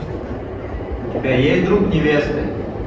у тебя есть друг невесты